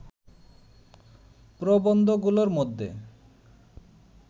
প্রবন্ধগুলোর মধ্যে